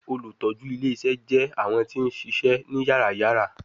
Olutọju ile-iṣẹ jẹ awọn ti n ṣiṣẹ ni yàrá-yàrá